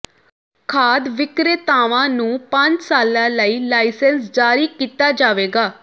ਖਾਦ ਵਿਕਰੇਤਾਵਾਂ ਨੂੰ ਪੰਜ ਸਾਲਾਂ ਲਈ ਲਾਇਸੈਂਸ ਜਾਰੀ ਕੀਤਾ ਜਾਵੇਗਾ